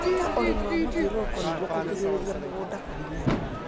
Ika ũrĩmi wa mũthiũruruko nĩguo kũgirĩrĩria mũgunda kũhinyara.